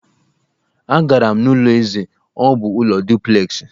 Agara m n'ụlọ eze, ọ bụ ụlọ duplexị